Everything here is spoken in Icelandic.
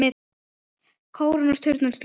Kórinn og turninn sluppu.